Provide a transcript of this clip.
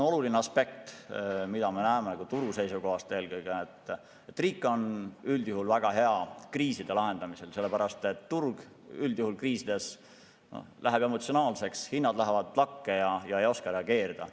Oluline aspekt eelkõige turu seisukohast on, et riik on üldjuhul kriiside lahendamisel väga hea, sellepärast et turg üldjuhul kriiside korral läheb emotsionaalseks, hinnad tõusevad lakke ja ei osata reageerida.